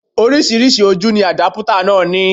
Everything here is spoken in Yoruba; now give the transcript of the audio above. Oríṣiríṣi ojú ni àdápútà náà ní